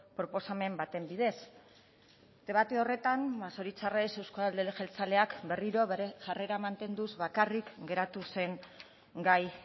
proposamen baten bidez debate horretan ba zoritzarrez euzko alderdi jeltzaleak berriro bere jarrera mantenduz bakarrik geratu zen gai